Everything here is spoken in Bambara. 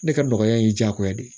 Ne ka nɔgɔya ye diyagoya de ye